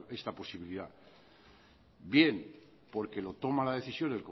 esta posibilidad bien porque lo toma la decisión